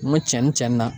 N ko cɛnin na